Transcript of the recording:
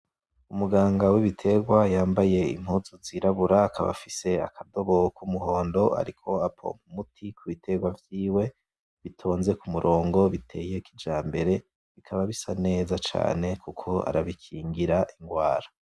Umuganga w'ibiterwa yambaye impuzu zirabura, akaba afise akadobo k'umuhondo, ariko apompa umuti ku biterwa vyiwe, bitonze ku murongo biteye kijambere, bikaba bisa neza cane kuko arabikingira ingwara.